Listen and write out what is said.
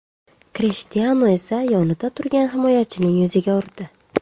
Krishtianu esa yonida turgan himoyachining yuziga urdi.